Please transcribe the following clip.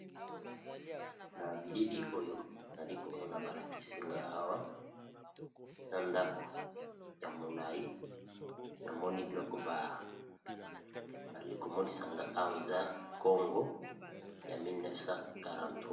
Na bilili oyo nali komona balakisi nga awa eza ndako ya molai namoni biloko babali komonisa nga awa eza congo ya 1943.